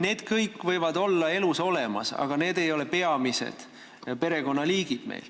Need kõik võivad elus olemas olla, aga need ei ole meil peamised perekonnaliigid.